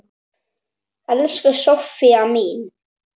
Elsku Soffía mín.